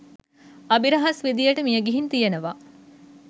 අභිරහස් විදියට මියගිහින් තියෙනව.